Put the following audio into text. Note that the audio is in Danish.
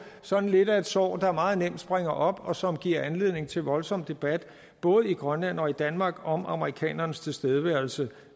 sådan lidt et sår der meget nemt springer op og som giver anledning til voldsom debat både i grønland og i danmark om amerikanernes tilstedeværelse